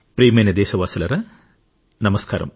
ప్రియమైన దేశవాసులారా నమస్కారం